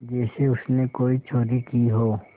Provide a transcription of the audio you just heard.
जैसे उसने कोई चोरी की हो